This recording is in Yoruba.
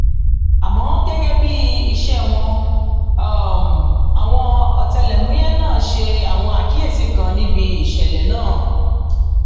àmọ gẹgẹ bíi iṣẹ wọn àwọn ọtẹlẹmúyẹ náà ṣe àwọn àkíyèsí kan níbi ìṣẹlẹ náà